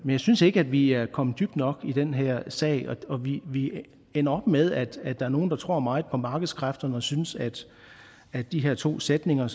jeg synes ikke at vi er kommet dybt nok ind i den her sag og vi ender op med at der er nogle der tror meget på markedskræfterne og synes at at de her to sætninger